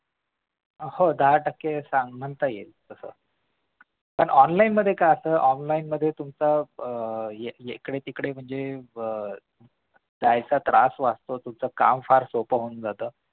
हो दहा टक्के म्हणता येईल तसं पण online मध्ये काय असतं online मध्ये तुमच आह यीकडे तिकडे म्हणजे अह जायचा त्रास वाचतो तुमचा तुमच काम फार सोपं होऊन जातं